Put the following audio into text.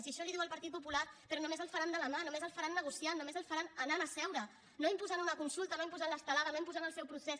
si això li ho diu el partit popular però només el faran de la mà només el faran negociant només el faran anant a seure no imposant una consulta no imposant l’estelada no imposant el seu procés